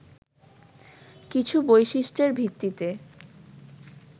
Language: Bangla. কিছু বৈশিষ্ট্যের ভিত্তিতে